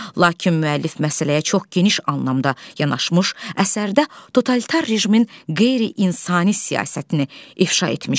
Lakin müəllif məsələyə çox geniş anlamda yanaşmış, əsərdə totalitar rejimin qeyri-insani siyasətini ifşa etmişdi.